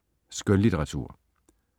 Skønlitteratur